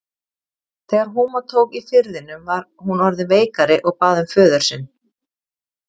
Þegar húma tók í firðinum var hún orðin veikari og bað um föður sinn.